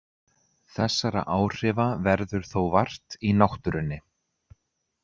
Þessara áhrifa verður þó vart í náttúrunni.